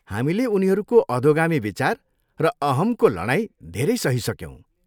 हामीले उनीहरूको अधोगामी विचार र अहम्को लडाइँ धेरै सहिसक्यौँ।